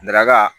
Nɛrɛla